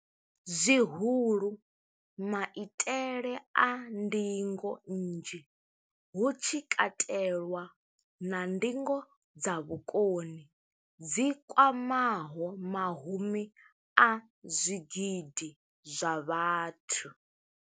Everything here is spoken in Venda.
zwihulu, maitele a ndingo nnzhi, hu tshi katelwa na ndingo dza vhukoni dzi kwamaho mahumi a zwigidi zwa vhathu.